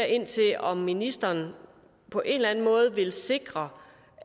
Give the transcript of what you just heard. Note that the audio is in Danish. ind til om ministeren på en eller anden måde vil sikre